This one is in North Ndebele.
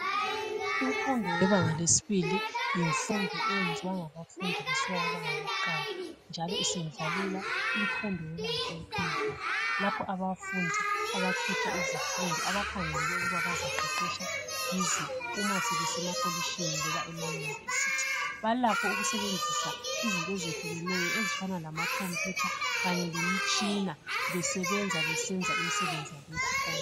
Imfundo yebanga lesibili, yimfundo eyenziwa ngabafundi besuka kubanga lokuqala, njalo isendlalela imfundo yebanga eliphezulu lapho abafundi abakhetha izifundo abakhangelele ukuba bazaqeqetsha kizo, uma sebesemakolitshini loba ema yunivesithi. Balakho ukusebenzisa izinto ezehlukeneyo, ezifana lama computer, kanye lemitshina, besebenza besenza imsebenzi yabo yesikolo.